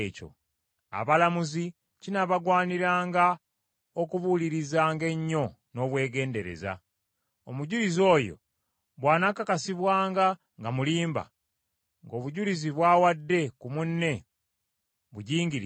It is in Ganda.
Abalamuzi kinaabagwaniranga okubuulirizanga ennyo n’obwegendereza. Omujulizi oyo bw’anaakakasibwanga nga mulimba, ng’obujulizi bw’awadde ku munne bugingirire,